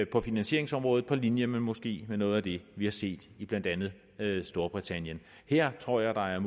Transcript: på finansieringsområdet på linje med måske noget af det vi har set i blandt andet storbritannien her tror jeg der er